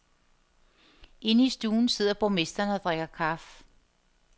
Inde i stuen sidder borgmesteren og drikker kaffe.